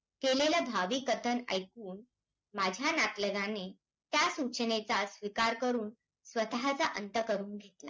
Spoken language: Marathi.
कारणाने वेगळं आहेत विकासाच्या